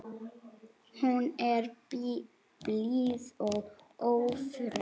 Hún er blíð og ófröm.